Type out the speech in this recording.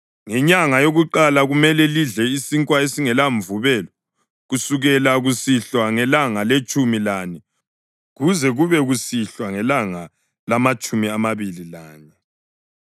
Ngenyanga yakuqala kumele lidle isinkwa esingelamvubelo, kusukela kusihlwa ngelanga letshumi lane kuze kube kusihlwa ngelanga lamatshumi amabili lanye.